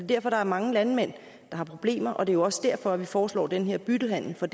derfor der er mange landmænd der har problemer og det er jo også derfor vi foreslår den her byttehandel for